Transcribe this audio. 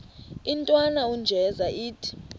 intwana unjeza ithi